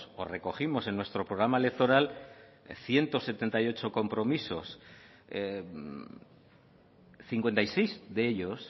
o recogimos en nuestro programa electoral ciento setenta y ocho compromisos cincuenta y seis de ellos